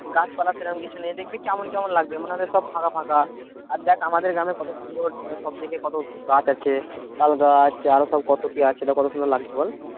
গাছপালা সেরকম কিছু নেই দেখবি কেমন কেমন লাগবে মনে হবে সব ফাঁকা ফাঁকা। আর দেখ আমাদের গ্রামে কত সুন্দর সব দিকে কত গাছ আছে তালগাছ আরো সব কত কি আছে তো কত সুন্দর লাগছে বল?